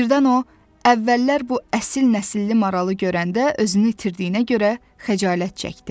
Birdən o əvvəllər bu əsil nəsilli maralı görəndə özünü itirdiyinə görə xəcalət çəkdi.